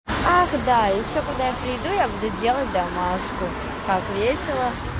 ах да ещё когда я приду я буду делать домашку так весело